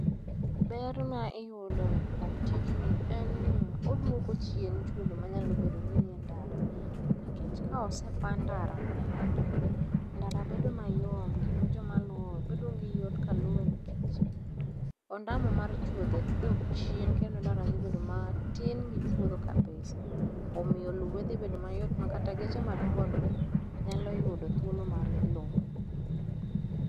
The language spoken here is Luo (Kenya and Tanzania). Ber ma iyudo kuom tijni, en ni, oduoko chien chuodho manyalo bedo ni nie ndara. Nikech ka osepaa ndara mobugi, ndara bedo mayom, kendo jomaluwe, bedo go yot ka luwe, nikech, ondamo mar chudho dok chien, kendo ndara dhi bedo matin gi chuodho kabisa. Omiyo luwe dhi bedo mayot makata geche madongo dongo nyalo yudo thuolo mar luwe.